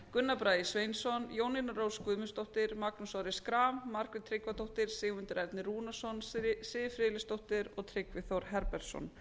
gunnar bragi sveinsson jónína rós guðmundsdóttir magnús orri schram margrét tryggvadóttir sigmundur ernir rúnarsson siv friðleifsdóttir og tryggvi þór herbertsson